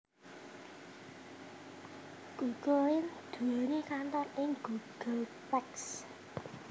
Google Inc nduwèni kantor ing Googleplex